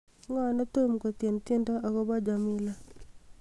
ng'o netom kotieni tiendo agopo jamila